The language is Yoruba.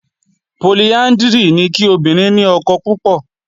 Poliándírì ni kí obìnrin ni ọkọ púpọ̀